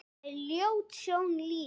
Það er ljót sjón lítil.